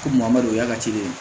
Ko maa dɔ o y'a ka ci de ye